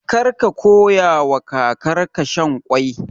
Kar ka koyawa kakarka shan ƙwai.